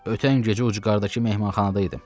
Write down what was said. Ötən gecə ucqardakı mehmanxanada idim.